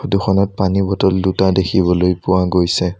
Photo খনত পানী bottle দুটা দেখিবলৈ পোৱা গৈছে।